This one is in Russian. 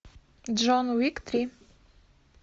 джон уик три